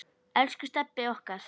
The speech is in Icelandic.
Elsku Stebbi okkar.